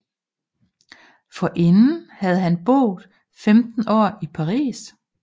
Forinden havde han boet 15 år i Paris